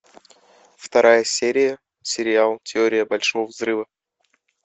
вторая серия сериал теория большого взрыва